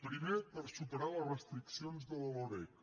primer per superar les restriccions de la loreg